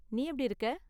நீ எப்படி இருக்க?